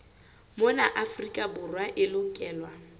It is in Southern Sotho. mona afrika borwa e lokelwa